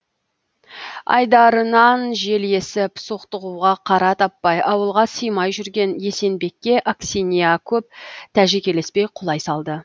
айдарынан жел есіп соқтығуға қара таппай ауылға симай жүрген есенбекке аксинья көп тәжікелеспей құлай салды